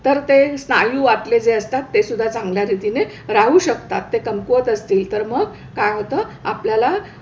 तर ते स्नायू आतले जे असतात ते सुद्धा चांगल्या रीतीने राहू शकतात. ते कमकुवत असतील तर मग काय होतं, आपल्याला,